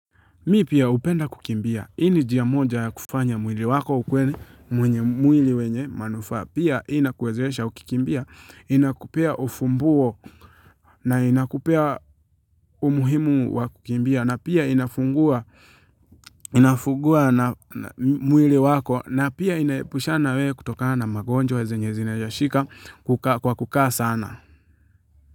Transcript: Mimi pia hupenda kukimbia, hii ni njia moja ya kufanya mwili wako ukuwe, mwili wenye manufaa, pia inakuwezesha ukikimbia, inakupea ufumbuo na inakupea umuhimu wa kukimbia, na pia inafungua mwili wako, na pia inaepushana na wewe kutokana na magonjwa zenye zinawezashika kwa kukaa sana.